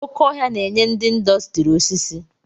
Oké ọhia na-enye ndị ịndọstrị osisi.